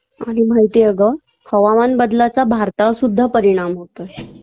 आणि माहितीए अगं हवामानबदलाचा भारतावर सुद्धा परिणाम होतोय